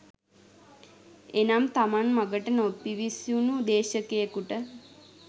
එනම් තමන් මගට නොපිවිසුනු දේශකයෙකුට